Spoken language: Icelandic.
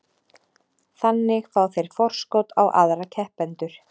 Þannig fá þeir forskot á aðra keppendur.